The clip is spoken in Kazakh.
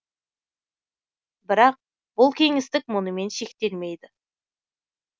бірақ бұл кеңістік мұнымен шектелмейді